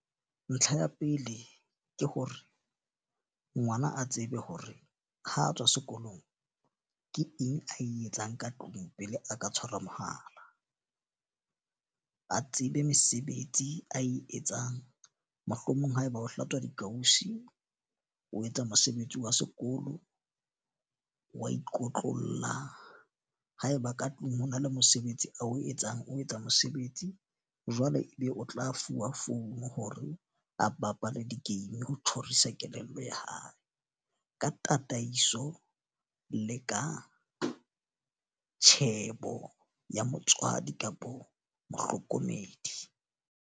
Ntlha ya pele ke hore, ngwana a tsebe hore ha a tswa sekolong ke eng ae etsang ka tlung pele a ka tshwarwa mohala. Ba tsebe mesebetsi ae etsang. Mohlomong haeba o hlatswa dikausi, o etsa mosebetsi wa sekolo, wa ikotlolla. Haeba ka tlung ho na le mosebetsi oa o etsang o etsa mosebetsi. Jwale e be o tla fuwa phone hore a bapale di-game ho tjhorisa kelello ya hae. Ka tataiso le ka tjhebo ya motswadi kapa mohlokomedi.